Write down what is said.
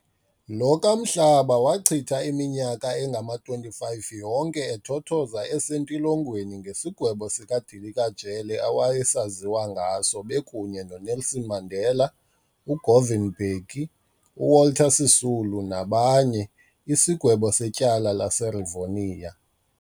Lo kaMhlaba wachitha iminyaka engama-25 yonke ethothoza esentilongweni ngesigwebo sika dilika jele awayesaziwa ngaso bekunye no Nelson Mandela, uGovan Mbeki, uWalter Sisulu nabanye , isigwebo setyala laseRivonia.